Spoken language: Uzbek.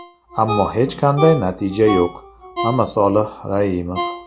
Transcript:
Ammo hech qanday natija yo‘q”, Mamasolih Raimov.